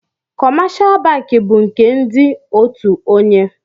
kọmáshá bankị bu nke ndị òtù ònyè